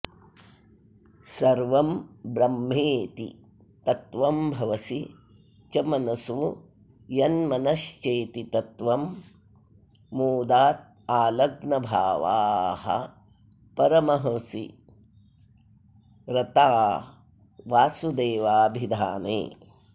सर्वं ब्रह्मेति तत्त्वं भवसि च मनसो यन्मनश्चेति तत्त्वं मोदादालग्नभावाः परमहसि रता वासुदेवाभिधाने